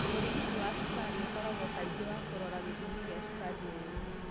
ũrigiti wa cukari ũkoragwo kaingĩ wa kũrora gĩthimi gia cukari mwĩrĩinĩ.